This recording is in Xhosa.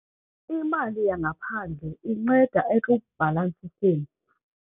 Imali yangaphandle inceda ekubhalansiseni.